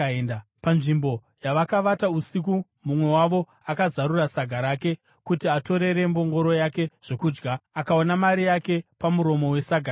Panzvimbo yavakavata usiku, mumwe wavo akazarura saga rake kuti atorere mbongoro yake zvokudya, akaona mari yake pamuromo wesaga rake.